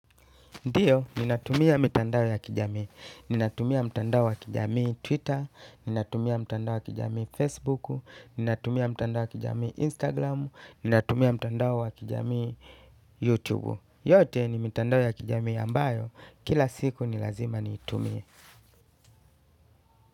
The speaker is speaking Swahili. Ndio, ninatumia mitandao ya kijamii. Ninatumia mtandao ya kijamii Twitter. Ninatumia mtandao ya kijamii Facebook. Ninatumia mtandao ya kijamii Instagram. Ninatumia mtandao wa kijamii YouTube. Yote ni mitandao ya kijamii ambayo. Kila siku ni lazima niitumie.